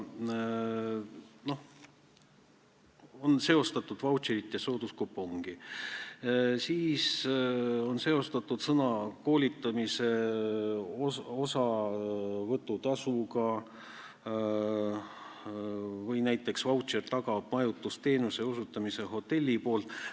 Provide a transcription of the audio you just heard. On seostatud vautšerit ja sooduskupongi, siis on seostatud seda sõna koolitamise osavõtutasuga või näiteks vautšer tagab selle, et hotell osutab majutusteenust.